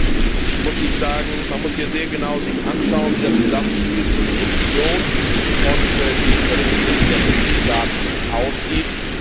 Trotzdem muss ich sagen, dass man sich hier sehr genau anschauen muss, wie das Zusammenspiel zwischen Kommission und den Berichtspflichten der Mitgliedstaaten aussieht.